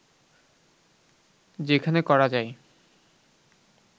যেখানে করা যায়